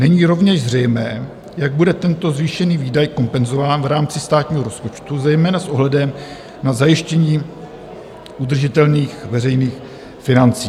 Není rovněž zřejmé, jak bude tento zvýšený výdaj kompenzován v rámci státního rozpočtu, zejména s ohledem na zajištění udržitelných veřejných financí.